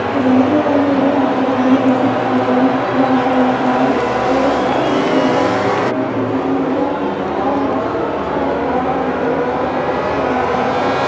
एक रोड और है और यहाँ पे बहुत बड़ी ऊंची पहाड़ी इलाका लग रहा है और यहाँ पे बहुत सारे पेड़-पौधे हैं और धूप निकली हुई है और मौसम बहुत अच्छा लग रहा है नज़ारा देखने में बहुत अच्छा लग रहा है और --